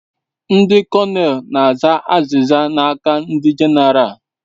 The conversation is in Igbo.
Ndi kọnel na aza aziza n'aka ndi genaralu